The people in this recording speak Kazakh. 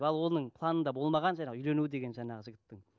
ал оның планында болмаған жаңағы үйлену деген жаңағы жігіттің